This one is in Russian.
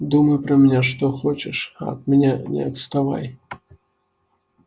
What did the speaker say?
думай про меня что хочешь а от меня не отставай